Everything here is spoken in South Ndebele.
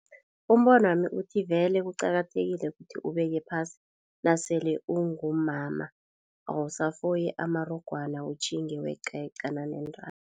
Umbono wami uthi vele kuqakathekile kuthi ubeke phasi nasele ungumama awusafoyi amarogwana utjhinge weqa yeqana neentambo.